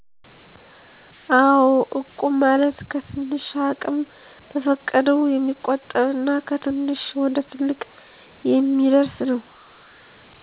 አው እቁብ ማለት ከትንሽ አቅም በፈቀደው የሚቆጠብ እና ከትንሽ ወደትልቅ የሚአደርስ ነው